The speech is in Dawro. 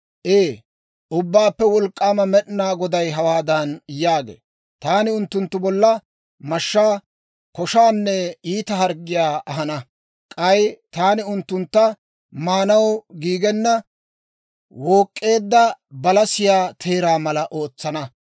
Ee, Ubbaappe Wolk'k'aama Med'inaa Goday hawaadan yaagee; ‹Taani unttunttu bolla mashshaa, koshaanne iita harggiyaa ahana. K'ay taani unttuntta maanaw giigenna wook'k'eedda balasiyaa teeraa mala ootsana.